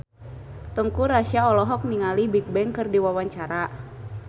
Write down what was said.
Teuku Rassya olohok ningali Bigbang keur diwawancara